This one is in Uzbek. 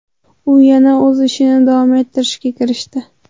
U yana o‘z ishini davom ettirishga kirishdi.